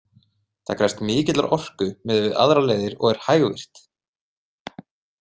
Það krefst mikillar orku miðað við aðrar leiðir og er hægvirkt.